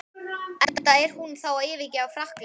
Enda er hún þá að yfirgefa Frakkland.